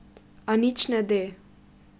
A nič ne de.